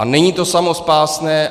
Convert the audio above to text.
A není to samospásné.